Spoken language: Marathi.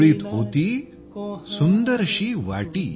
झोळीत होती सुंदरशी वाटी